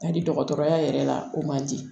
Ka di dɔgɔtɔrɔya yɛrɛ la o man di